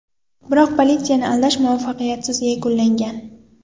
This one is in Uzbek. Biroq politsiyani aldash muvaffaqiyatsiz yakunlangan.